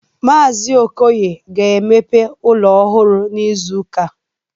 Mazi Okoye ga emepe ụlọ ọhụrụ n'izuka a